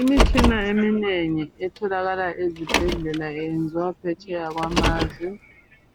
Imitshina eminengi etholakala ezibhedlela iyenziwa phetsheya kwazwe.